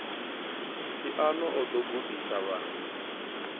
phiano o ḓo gudisa vhaṅwe